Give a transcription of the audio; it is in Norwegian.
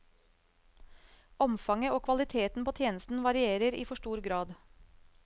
Omfanget og kvaliteten på tjenesten varierer i for stor grad.